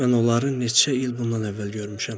Mən onları neçə il bundan əvvəl görmüşəm.